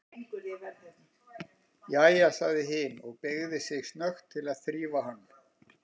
Jæja, sagði hin og beygði sig snöggt til þess að þrífa hann.